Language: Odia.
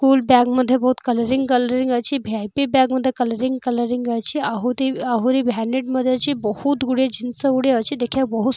ଫୁଲ ବ୍ୟାଗ୍ ମଧ୍ୟ ବହୁତ କଲରିଙ୍ଗ କଲରିଙ୍ଗ ଅଛି ଭିଆପି ବ୍ୟାଗ୍ ମଧ୍ୟ କଲରିଙ୍ଗ କଲରିଙ୍ଗ ଅଛି ଆହୁତି ଆହୁରି ଭ୍ୟାନିଟି ମଧ୍ୟ ଅଛି ବହୁତ୍ ଗୁଡ଼ିଏ ଜିନିଷ ଗୁଡ଼ିଏ ଅଛି ଦେଖିବାକୁ ବହୁତ୍ --